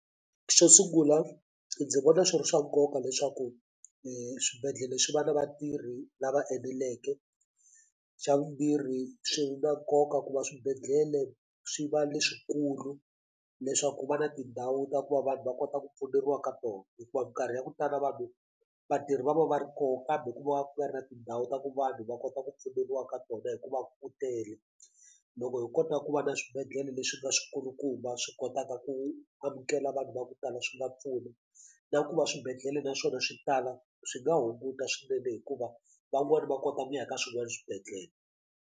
Xo sungula ndzi vona swi ri swa nkoka leswaku swibedhlele swi va na vatirhi lava eneleke xa vumbirhi swi na nkoka ku va swibedhlele swi va leswikulu leswaku ku va na tindhawu ta ku va vanhu va kota ku pfuneriwa ka tona hikuva mikarhi ya ku tala vanhu vatirhi va va va ri koho kambe ku va ku nga ri na tindhawu ta ku vanhu va kota ku pfuneriwa ka tona hikuva ku tele loko hi kota ku va na swibedhlele leswi nga swikulukumba va swi kotaka ku amukela vanhu va ku tala swi va pfuna na ku va swibedhlele na swona swi tala swi nga hunguta swinene hikuva van'wani va kota ku ya ka swin'wani swibedhlele.